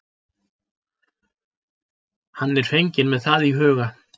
Hann er fenginn með það í huga.